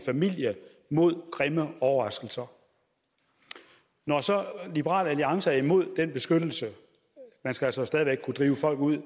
familie mod grimme overraskelser når så liberal alliance er imod den beskyttelse man skal altså stadig væk kunne drive folk ud i